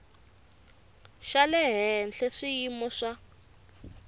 xa le henhla swiyimo swa